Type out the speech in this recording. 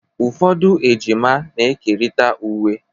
Ụfọdụ ejima na-ekerịta uwe